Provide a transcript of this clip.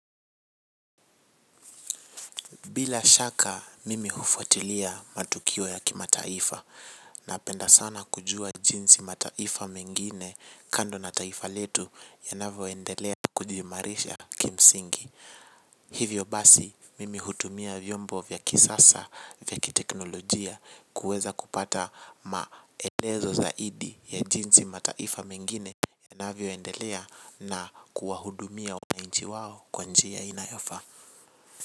Bila shaka mimi hufuatilia matukio ya kimataifa. Napenda sana kujua jinsi mataifa mengine kando na taifa letu yanavyoendelea kujiimarisha kimsingi. Hivyo basi mimi hutumia vyombo vya kisasa vya kiteknolojia kuweza kupata maelezo zaidi ya jinsi mataifa mengine yanavyoendelea na kuwahudumia wananchi wao kwa njia inayofa.